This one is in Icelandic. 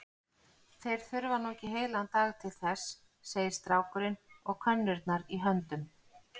Þeir þurfa nú ekki heilan dag til þess, segir strákurinn og könnurnar í höndum